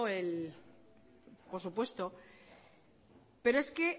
él por supuesto pero es que